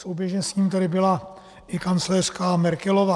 Souběžně s ním tady byla i kancléřka Merkelová.